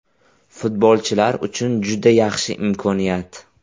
Futbolchilar uchun juda yaxshi imkoniyat.